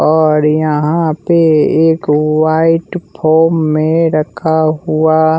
और यहाँ पे एक व्हाईट फॉर्म में रखा हुआ--